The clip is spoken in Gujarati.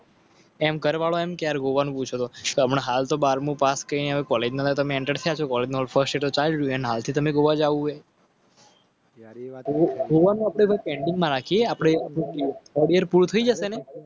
હમણાં હાલ તો બારમું પાસ કરો. Full stop.